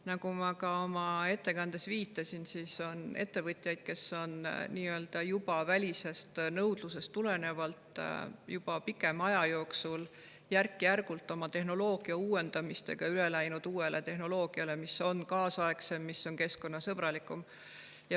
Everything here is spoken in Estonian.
Nagu ma ka oma ettekandes viitasin, on ettevõtjaid, kes on juba välisest nõudlusest tulenevalt pikema aja jooksul järk-järgult oma tehnoloogiat uuendanud ja üle läinud uuele tehnoloogiale, mis on kaasaegsem ja keskkonnasõbralikum.